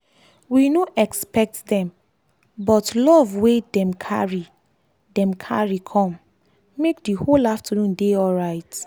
we no expect dem but love wey dem carry dem carry com make the whole afternoon dey alright